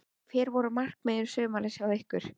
Hver voru markmið sumarsins hjá ykkur?